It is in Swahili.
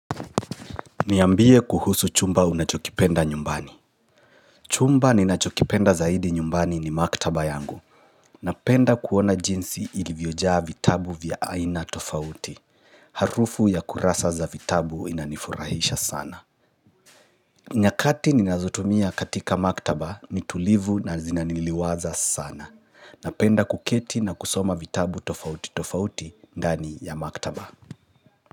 Niambie kuhusu chumba unachokipenda nyumbani. Chumba ninachokipenda zaidi nyumbani ni maktaba yangu. Napenda kuona jinsi ilivyojaa vitabu vya aina tofauti. Harufu ya kurasa za vitabu inanifurahisha sana. Nyakati ninazotumia katika maktaba ni tulivu na zinaniliwaza sana. Napenda kuketi na kusoma vitabu tofauti tofauti ndani ya maktaba.